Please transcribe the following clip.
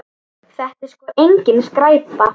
Þetta er sko engin skræpa.